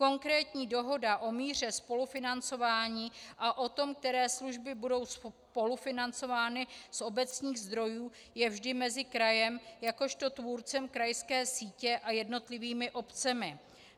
Konkrétní dohoda o míře spolufinancování a o tom, které služby budou spolufinancovány z obecních zdrojů, je vždy mezi krajem jakožto tvůrcem krajské sítě a jednotlivými obcemi.